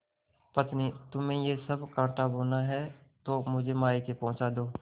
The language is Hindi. पत्नीतुम्हें यह सब कॉँटा बोना है तो मुझे मायके पहुँचा दो